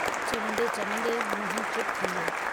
चवंदे-चवंदे मोहन चुप थी वियो।